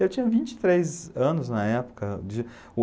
Eu tinha vinte e três anos na época